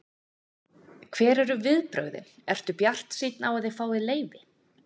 Hver eru viðbrögðin, ert þú bjartsýnn á að þið fáið leyfi?